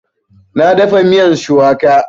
Na dafa miyan shuwaka